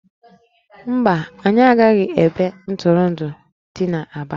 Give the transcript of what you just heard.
Mba, anyị agaghị ebe ntụrụndụ dị n'Aba